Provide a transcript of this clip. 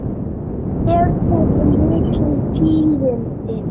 Eru þetta ekki mikil tíðindi?